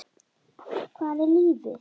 Hvað er lífið?